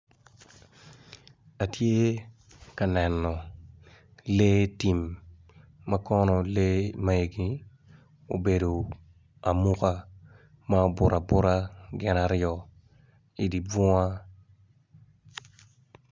Atye ka neno lee tim makono lee magi obedo amuka ma obuto abuta gin aryo idibunga.